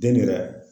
Den yɛrɛ